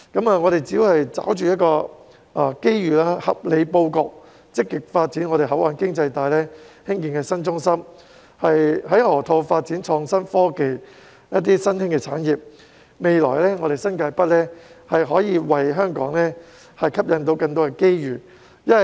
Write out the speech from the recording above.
我們只要抓着機遇，合理布局，積極發展本港的口岸經濟帶，興建新中心，在河套發展創新科技及新興產業，新界北在未來將可以為香港吸引更多機遇。